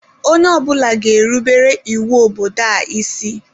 Onye ọ bụla ga-erubere iwu obodo a isi.